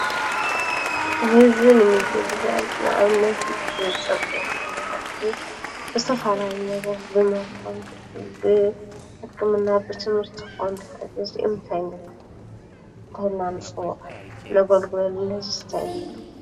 ሕዝቢ ንምግ ብሕያል ንእብነት ብጸብግይኾነ እዩ ብስተፍላነት ብማይኮንት ብሕክምና ብትምህርቲ ኾን ኽእት ዝኡምተይንሉ እንተላን ጽውዓል ለጐልጕለሉን ሕዙ ስተይንብሎ?